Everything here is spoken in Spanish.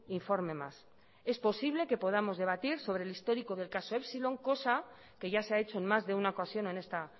informe más es posible que podamos debatir sobre el histórico del caso epsilon cosa que ya se ha hecho en más de una ocasión en esta